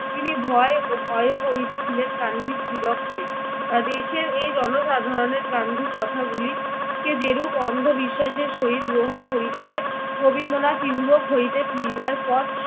তিনি ভয় ও ভয়ও করিতেছিলেন গান্ধীর দিগককে। দেশের এই জনসাধারণের গান্ধীর কথাগুলিকে যেরূপ অন্ধবিশ্বাসের সহিত গ্রহণ করিতেছে, রবীন্দ্রনাথ ইউরোপ হইতে ফিরিবার পর